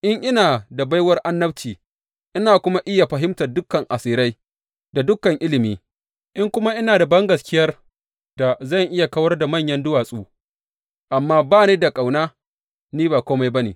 In ina da baiwar annabci, ina kuma iya fahimtar dukan asirai da dukan ilimi, in kuma ina da bangaskiyar da zan iya kawar da manyan duwatsu, amma ba ni da ƙauna, ni ba kome ba ne.